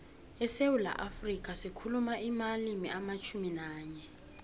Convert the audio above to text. esewula afrika sikhuluma amalimi alitjhumi nanye